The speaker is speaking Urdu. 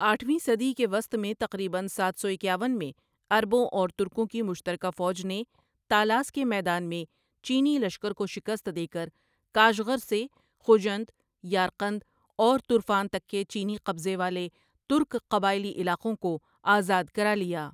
آٹھویں صدی کے وسط میں تقریباً ساتھ سو اکیاون میں عربوں اور ترکوں کی مشترکہ فوج نے تالاس کے میدان میں چینی لشکر کو شکست دے کر کاشغر سے خوجند، یارقند اور تُرفان تک کے چینی قبضے والے ترک قبائلی علاقوں کو آزاد کرالیا۔